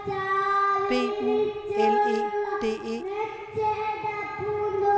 B U L E D E